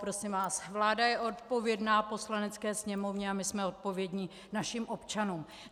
Prosím vás, vláda je odpovědná Poslanecké sněmovně a my jsme odpovědní našim občanům.